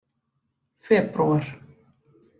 febrúar